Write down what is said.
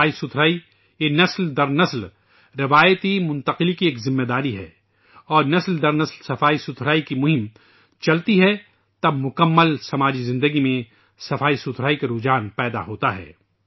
صفائی نسل در نسل سنسکار منتقلی کی ذمہ داری ہے اور جب صفائی کی مہم نسل در نسل چلتی ہے تو پھر پورا معاشرہ زندگی میں صفائی کی فطرت بن جاتا ہے